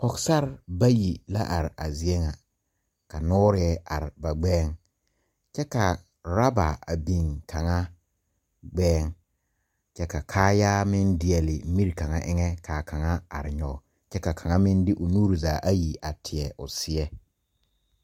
Pɔgesarre bayi la are a zie ŋa ka noorɛɛ are ba gbɛɛŋ kyɛ ka rɔba a biŋ kaŋa gbɛɛŋ kyɛ ka kaayaa meŋ deɛle mire kaŋa eŋɛ kaa kaŋa are nyoge ka kaŋ meŋ de o nuure zaa a teɛ o seɛ.